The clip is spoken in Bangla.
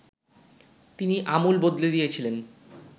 তিনি আমূল বদলে দিয়েছিলেন